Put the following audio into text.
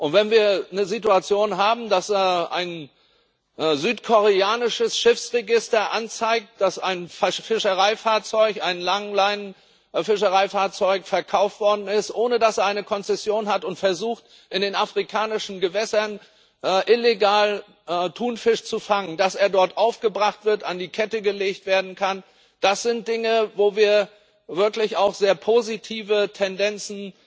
Wenn wir eine Situation haben, dass ein südkoreanisches Schiffsregister anzeigt, dass ein Fischereifahrzeug, ein Langleinenfänger, verkauft worden ist, ohne dass es eine Konzession hat, und versucht, in den afrikanischen Gewässern illegal Thunfisch zu fangen, dass er dort aufgebracht wird, an die Kette gelegt werden kann das sind Dinge, wo wir diesbezüglich wirklich auch sehr positive Tendenzen